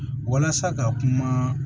Walasa ka kuma